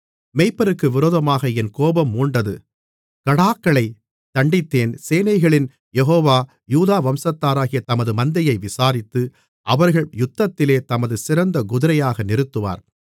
மேய்ப்பருக்கு விரோதமாக என் கோபம் மூண்டது கடாக்களைத் தண்டித்தேன் சேனைகளின் யெகோவா யூதா வம்சத்தாராகிய தமது மந்தையை விசாரித்து அவர்களை யுத்தத்திலே தமது சிறந்த குதிரையாக நிறுத்துவார்